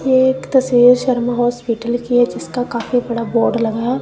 ये एक तस्वीर शर्मा हॉस्पिटल की है जिसका काफी बड़ा बोर्ड लगा है।